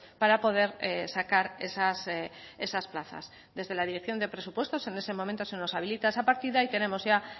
para poder sacar esas plazas desde la dirección de presupuestos en ese momento se nos habilita esa partida y tenemos ya